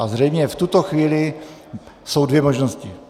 A zřejmě v tuto chvíli jsou dvě možnosti.